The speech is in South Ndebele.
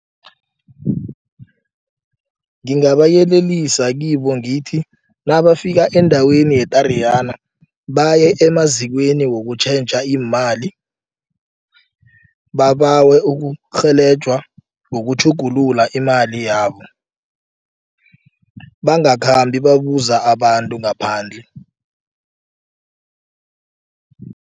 Ngingabayelelisa kibo ngithi nabafika endaweni ye-Tariyana baye emazikweni wokutjhentjha iimali. Babawe ukurhelejwa ngokutjhugulula imali yabo bangakhambi babuza abantu ngaphandle.